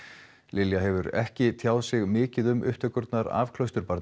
Lilja hefur ekki tjáð sig mikið um upptökurnar af